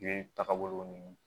Yiri tagabolo ninnu